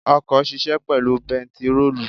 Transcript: Ọkọ̀ ṣisẹ́ pẹ̀lú bentiróòlù.